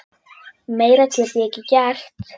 Meira get ég ekki gert.